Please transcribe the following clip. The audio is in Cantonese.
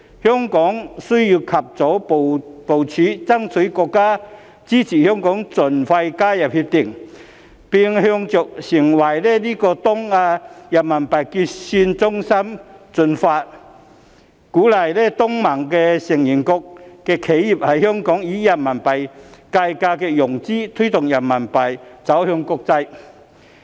香港需要及早部署，爭取國家支持香港盡快加入《協定》，並朝着成為東亞的人民幣結算中心進發，鼓勵東盟成員國的企業在香港以人民幣計價融資，推動人民幣走向國際。